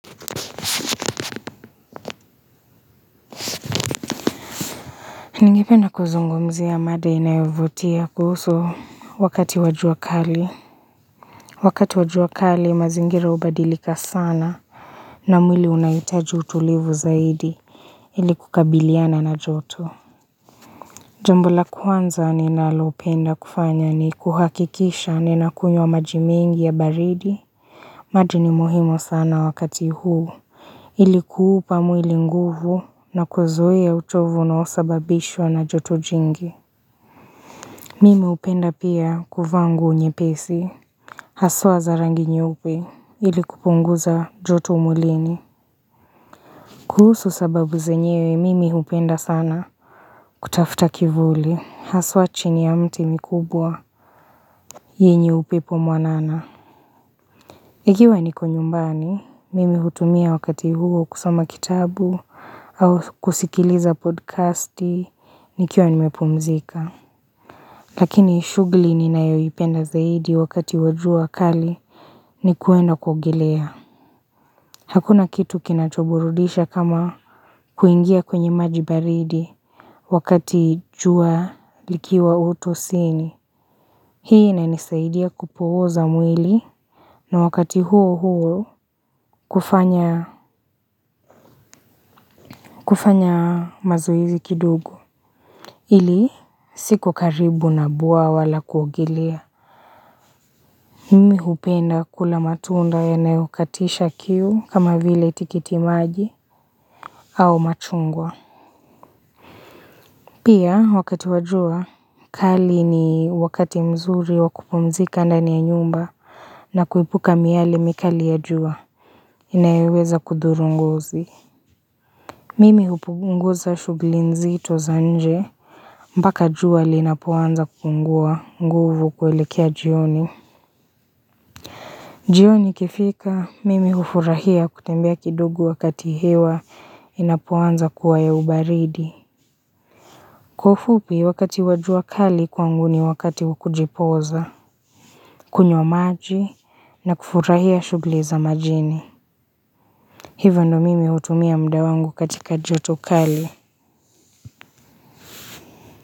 Ningependa kuzungumzia mada inayovutia kuhusu wakati wa jua kali Wakati wa jua kali mazingira hubadilika sana na mwili unaitaji utulivu zaidi ili kukabiliana na jotu Jambo la kwanza ninalopenda kufanya ni kuhakikisha nina kunywa maji mengi ya baridi maji ni muhimu sana wakati huu Ilikuupa mwili nguvu na kuzuia uchovu unaosababishwa na joto jingi Mimi hupenda pia kuvaa nguo nyepesi. Haswa za rangi nyeupe ili kupunguza joto mwilini lini. Kuhusu sababu zenyewe mimi upenda sana kutafuta kivuli. Haswa chini ya mti mikubwa yenye upepo mwanana. Ikiwa niko nyumbani. Mimi hutumia wakati huo kusoma kitabu au kusikiliza podcasti nikiwa nimepumzika. Lakini shuguli ninayo ipenda zaidi wakati wa jua kali. Ni kuenda kuogelea hakuna kitu kinachoburudisha kama kuingia kwenye maji baridi wakati jua likiwa utosini hii inanisaidia kupuoza mwili na wakati huo huo kufanya kufanya mazoezi kidogo.ili siku karibu na bwawaa la kuogelea mimi hupenda kula matunda yanayokatisha kiu kama vile tikiti maji au machungwa Pia, wakati wa jua, kali ni wakati mzuri wakupumzika ndani ya nyumba na kuepuka miali mikali ya jua, inayoweza kudhuru ngozi. Mimi hupunguza shuguli nzito za nje, mpaka jua linaponza kupungua, nguvu kuelekea jioni. Jioni ikifika, mimi ufurahia kutembea kidogo wakati hewa, inapoanza kuwa ya ubaridi. Kwa ufupi wakati wa jua kali kwangu ni wakati wakujipoza kunywa maji na kufurahia shughuli za majini Hivo ndo mimi hutumia muda wangu katika joto kali.